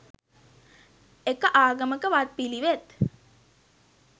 එක ආගමක වත්පිළිවෙත්